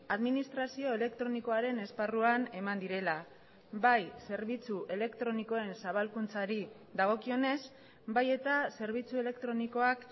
administrazio elektronikoaren esparruan eman direla bai zerbitzu elektronikoen zabalkuntzari dagokionez bai eta zerbitzu elektronikoak